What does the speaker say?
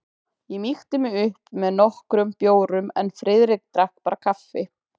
Ég mýkti mig upp með nokkrum bjórum en Friðrik drakk bara kaffi.